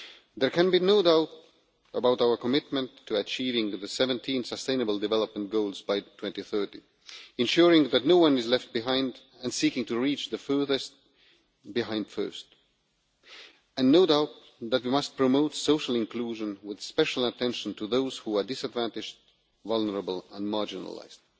There can be no doubt about our commitment to achieving the 17 sustainable development goals by 2030, ensuring that no one is left behind and seeking to reach the furthest behind first. No doubt, we must promote social inclusion, with special attention to those who are disadvantaged, vulnerable and marginalised.